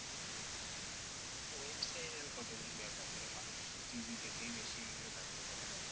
Website আর কতজন ব্যবহার করে? মানুষ TV দেখেই বেশি এগুলো জানতে পারে।